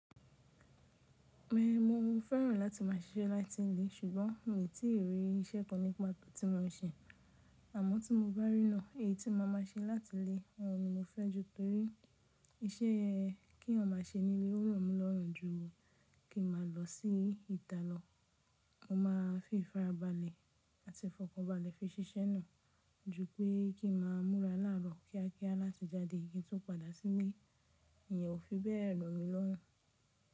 Bẹ́ẹ̀ni, mo fẹ́ràn láti máa ṣiṣẹ́ láti ilé ṣùgbọ́n n o tíì rí isẹ́ kan nípa tó ti mo se. Àmọ́ tí mo bá rí náà, èyí tí máa ma ṣe láti ilé, òun ni mo fẹ́ ju Iṣẹ́ tí èèyàn má ṣe ní ilé ó rọ̀ mí lọ́rùn jù kí n má lọ sí ìta lọ. Mo máa fi ìfarabalẹ̀ àti ìfọ̀kànbalẹ̀ fi ṣiṣẹ́ náà ju pẹ́ kí n máa múra láàárọ̀ kíákíá láti jáde kí n tún padà sílé, ìyẹn ò fi bẹ́ẹ̀ rọ̀ mí lọ́rùn.